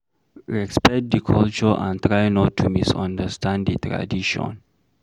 Respect di culture and try not to misunderstand di tradition